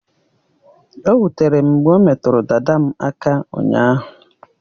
O wutere m mgbe o metụrụ dada m aka ụnyaahụ.